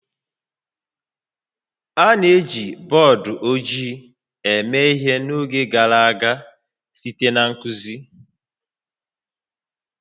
A na-eji bọọdụ ojii eme ihe n'oge gara aga site na nkuzi